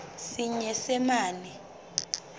senyesemane